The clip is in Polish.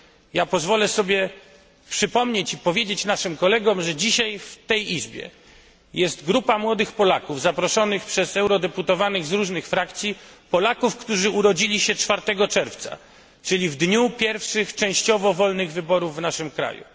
Ja pozwolę sobie przypomnieć i powiedzieć naszym kolegom, że dzisiaj w tej Izbie jest grupa młodych Polaków zaproszonych przez eurodeputowanych z różnych frakcji, Polaków, którzy urodzili się 4 czerwca, czyli w dniu pierwszych częściowo wolnych wyborów w naszym kraju.